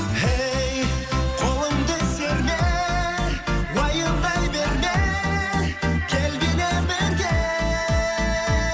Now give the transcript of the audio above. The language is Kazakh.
ей қолыңды серме уайымдай берме кел биле бірге